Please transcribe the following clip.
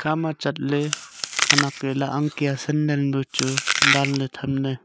tama chat ley khanek e lah ang kya sandal pu chu danley tham ley.